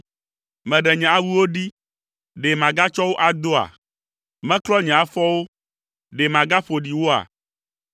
Meɖe nye awuwo ɖi; ɖe magatsɔ wo adoa? Meklɔ nye afɔwo; ɖe magaƒo ɖi woa?